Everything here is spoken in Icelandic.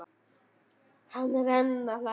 Hann er enn að hlæja.